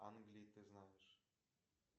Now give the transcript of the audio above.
англии ты знаешь